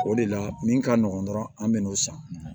O de la min ka nɔgɔn dɔrɔn an bɛn'o san